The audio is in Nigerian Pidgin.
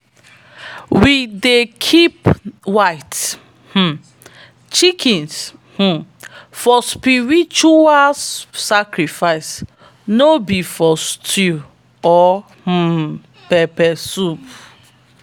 we dey keep white um chickens um for spiritual sacrifice no be for stew or um pepper soup.